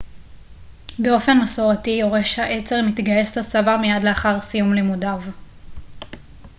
באופן מסורתי יורש העצר מתגייס לצבא מיד לאחר סיום לימודיו